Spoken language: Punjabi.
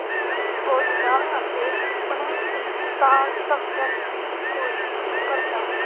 ਸੋਚਦਾ ਅਤੇ ਸੁਪਨੇ ਦੀ ਸਾਰ ਸਮਝਣ ਦੀ ਕੋਸ਼ਿਸ਼ ਕਰਦਾ